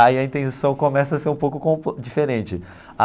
Aí a intenção começa a ser um pouco diferente.